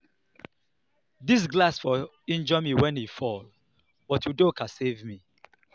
I no believe say Ekene pay for the food I chop for Mama ogene for Mama ogene shop.